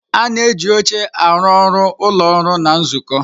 Ana eji oche aru ọrụ ụlọọrụ na nzukọ.